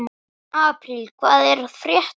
Apríl, hvað er að frétta?